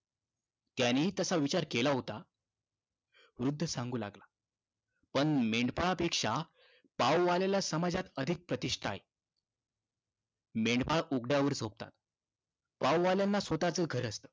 त्यानीही तसा विचार केला होता. वृद्ध सांगू लागला. पण मेंढपाळापेक्षा पाववाल्याला समाजात अधिक प्रतिष्ठा आहे. मेंढपाळ उघड्यावर झोपतात. पाववाल्यांना स्वतःचं घर असतं.